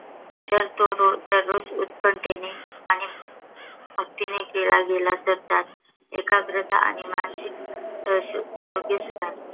जर तो रोज दररोज उत्कंठतेने आणि भक्तीने केला गेला तर, त्यात एकाग्रता आणि मानसिक आरोग्य सुधारते.